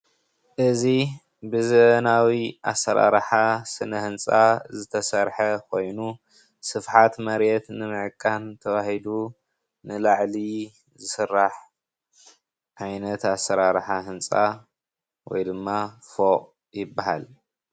እዚ ብዘበናዊ ኣሰራርሓ ስነ ህንፃ ዝተሰርሐ ኮይኑ ስፍሓት መሬት ንምዕቃን ተባሂሉ ንላዕሊ ዝስራሕ ዓይነት ኣሰራርሓ ህንፃ ወይ ድማ ፉቕ ይበሃል፡፡